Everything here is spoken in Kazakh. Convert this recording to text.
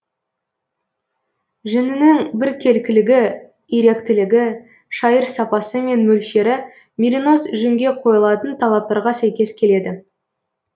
жүнінің біркелкілігі иректілігі шайыр сапасы мен мөлшері меринос жүнге қойылатын талаптарға сәйкес келеді